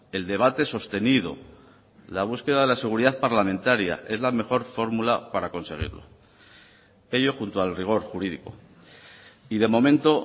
el debate sostenido la búsqueda de la seguridad parlamentaria es la mejor fórmula para conseguirlo ello junto al rigor jurídico y de momento